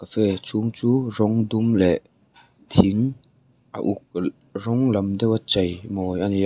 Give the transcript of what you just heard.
cafe chhung chu rawng dum leh thing a uk rawng lam deuh a chei mawi ani a.